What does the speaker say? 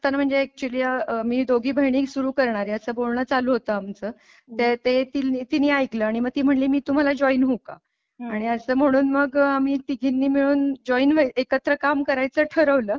म्हणजे अॅक्चूअली मी दोघी बहिणी सुरू करणार आहे असं बोलणं चालू होतं आमचं ते तीन तिने ऐकल आणि मग ती म्हणाली मी तुम्हाला जॉईन होऊ का? आणि असं म्हणून मग आम्ही तिघींनी मिळून जॉईन व्हाय एकत्र काम करायचं ठरवलं.